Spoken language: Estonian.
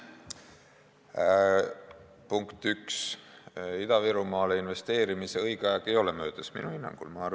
Punkt üks, Ida-Virumaale investeerimise õige aeg ei ole minu hinnangul möödas.